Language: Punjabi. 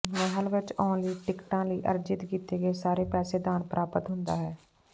ਮਹਿਲ ਵਿਚ ਆਉਣ ਲਈ ਟਿਕਟਾਂ ਲਈ ਅਰਜਿਤ ਕੀਤੇ ਗਏ ਸਾਰੇ ਪੈਸੇ ਦਾਨ ਪ੍ਰਾਪਤ ਹੁੰਦਾ ਹੈ